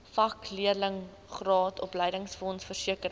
vakleerlingraad opleidingsfonds versekering